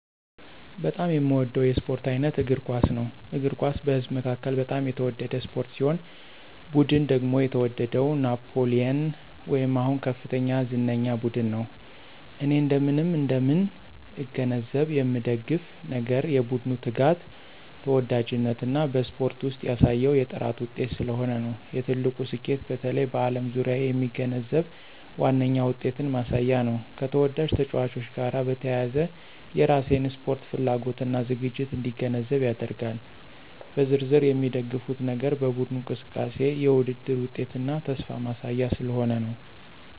በጣም የሚወደው የስፖርት አይነት እግር ኳስ ነው። እግር ኳስ በህዝብ መካከል በጣም የተወደደ ስፖርት ሲሆን ቡድን ደግሞ የተወደደው ናፕሊየን ወይም አሁን ከፍተኛ ዝነኛ ቡድን ነው። እኔ እንደምን እንደምን እገነዘብ የምንደግፍ ነገር የቡድኑ ትጋት፣ ተወዳጅነት እና በስፖርት ውስጥ ያሳየው የጥራት ውጤት ስለሆነ ነው። የትልቁ ስኬቱ በተለይ በዓለም ዙሪያ የሚገነዘብ ዋነኛ ውጤትን ማሳያ ነው፣ ከተወዳጅ ተጫዋቾች ጋር በተያያዘ የራሴን ስፖርት ፍላጎት እና ዝግጅት እንዲገነዘብ ያደርጋል። በዝርዝር የሚደግፉት ነገር በቡድኑ እንቅስቃሴ፣ የውድድር ውጤትና ተስፋ ማሳያ ስለሆነ ነው።